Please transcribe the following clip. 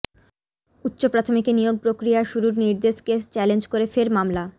উচ্চ প্রাথমিকে নিয়োগ প্রক্রিয়া শুরুর নির্দেশকে চ্যালেঞ্জ করে ফের মামলা